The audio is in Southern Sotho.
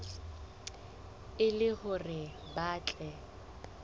e le hore ba tle